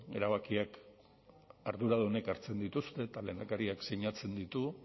erabakiak arduradunek hartzen dituzte eta lehendakariak sinatzen ditu